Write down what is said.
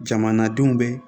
Jamanadenw bɛ